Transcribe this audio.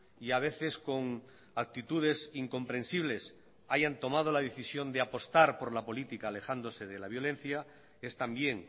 y a veces con actitudes incomprensibles hayan tomado la decisión de apostar por la política alejándose de la violencia es también